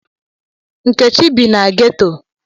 Nkechi bi na ghetọ.